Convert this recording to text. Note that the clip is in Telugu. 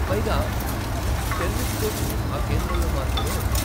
పైగా, టెన్నిస్ కోచింగ్ ఆ కేంద్రంలో మాత్రమే ఉంది.